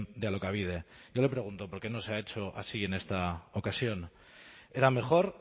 de alokabide yo le pregunto por qué no se ha hecho así en esta ocasión era mejor